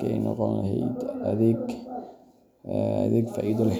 ka noqon lahayd adeeg faa’iido leh.